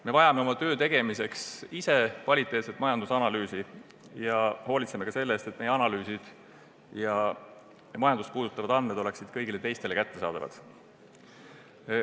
Me vajame oma töö tegemiseks kvaliteetset majandusanalüüsi ning hoolitseme selle eest, et meie analüüsid ja majandust puudutavad andmed oleksid ka kõigile teistele kättesaadavad.